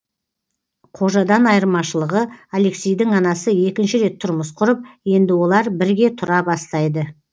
қожадан айырмашылығы алексейдің анасы екінші рет тұрмыс құрып енді олар бірге тұра бастайды